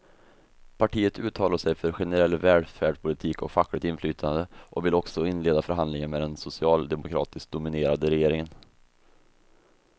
Partiet uttalar sig för generell välfärdspolitik och fackligt inflytande och vill också inleda förhandlingar med den socialdemokratiskt dominerade regeringen.